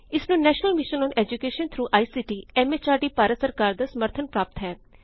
ਇਸਨੂੰ national mission on education through I C T M H R D Bharat ਸਰਕਾਰ ਦਾ ਸਮਰਥਨ ਪ੍ਰਾਪਤ ਹੈ